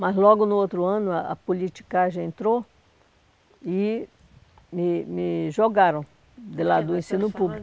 Mas logo no outro ano, a a politicagem entrou e me me jogaram de lá do ensino público.